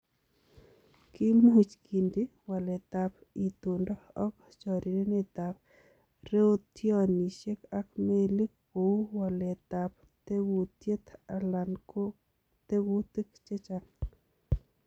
Kimuch kindi waletab itondo ok chorirenetab rotionisiek ak melik kou waletab tekutiet alan ko tekutik chechang'.